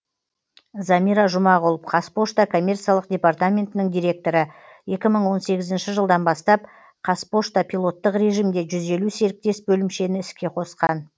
замира жұмағұл қазпошта коммерциялық департаментінің директоры екі мың он сегізінші жылдан бастап қазпошта пилоттық режимде жүз елу серіктес бөлімшені іске қосқан